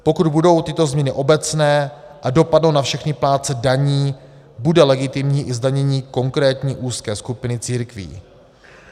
Pokud budou tyto změny obecné a dopadnou na všechny plátce daní, bude legitimní i zdanění konkrétní úzké skupiny církví.